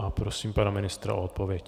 A prosím pana ministra o odpověď.